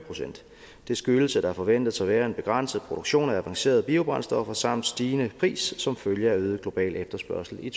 procent det skyldes at der forventes at være en begrænset produktion af avancerede biobrændstoffer samt stigende pris som følge af øget global efterspørgsel i